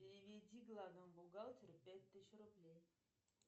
переведи главному бухгалтеру пять тысяч рублей